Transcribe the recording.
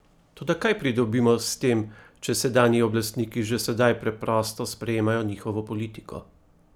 Toda kaj pridobimo s tem, če sedanji oblastniki že sedaj preprosto sprejemajo njihovo politiko?